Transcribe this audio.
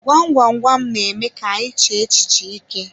Gwam gwam gwam n'eme ka anyị chee echiche ike.